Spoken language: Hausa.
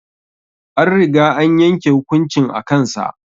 An riga an yanke hukuncin a kan sa